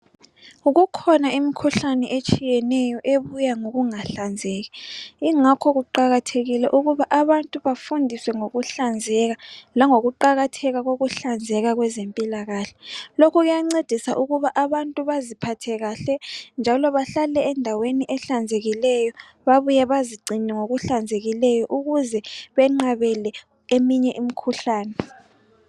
Kukhona imikhuhlane eyehlukeneyo ebuya ngokungahlanzeki ingakho kuqakathekile ukuba abantu bafundiswe ngokuhlanzeka langokuqakathela kokuhlanzeka kwezempilakahle lokhu kuya ncedisa ukuthi abantu baziphathe kahle bahlale endaweni ehlanzekileyo babuye bazigcine ukuze benqabele eminye imikhuhlane